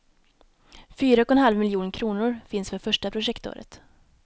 Fyra och en halv miljon kronor finns för första projektåret.